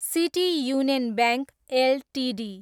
city union bank Ltd